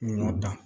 Ɲɔ dan